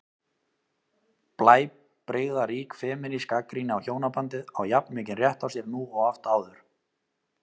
Blæbrigðarík femínísk gagnrýni á hjónabandið á jafn mikinn rétt á sér nú og oft áður.